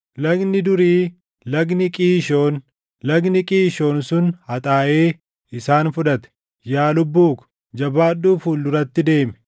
Lagni durii, lagni Qiishoon, lagni Qiishoon sun haxaaʼee isaan fudhate. Yaa lubbuu ko, jabaadhuu fuul duratti deemi!